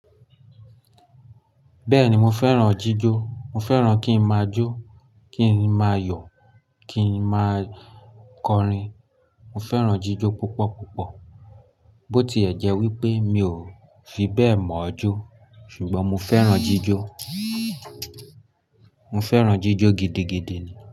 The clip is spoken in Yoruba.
Bẹ́ẹ̀ni mo fẹ́ràn jíjó, mo fẹ́ràn kí n máa jó, kí n máa yọ̀, kí n máa kọrin. Mo fẹ́ràn jíjó púpọ̀ púpọ̀. Bó ti ẹ̀ jẹ́ wípé mi ò fi bẹ́ẹ̀ mọ̀ ọ́ jó ṣùgbọ́n mo fẹ́ràn jíjó, mo fẹ́ràn jíjó gidigidi ni.